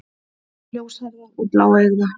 Ljóshærða og bláeygða.